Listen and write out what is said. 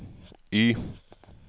Y